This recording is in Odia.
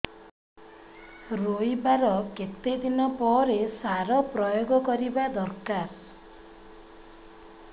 ରୋଈବା ର କେତେ ଦିନ ପରେ ସାର ପ୍ରୋୟାଗ କରିବା ଦରକାର